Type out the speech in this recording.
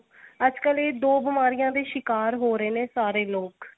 ਅੱਜਕਲ ਇਹ ਦੋ ਬੀਮਾਰੀਆ ਦੇ ਸ਼ਿਕਾਰ ਹੋ ਰਹੇ ਨੇ ਸਾਰੇ ਲੋਕ